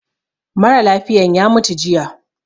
Mara lafiyan ya mutu jiya